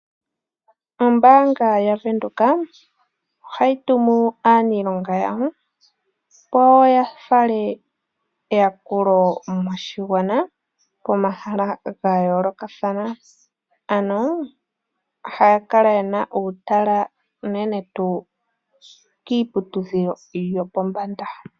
Ombanga yaVenduka ohayi tumu aanilonga yamwe opo ya fale eyakulo moshigwana pomahala ga yoolokathana ano ohaya kala ye na uutala unene tuu kiiputudhilo yopombanda.